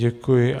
Děkuji.